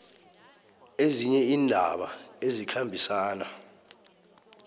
ezinye iindaba ezikhambisana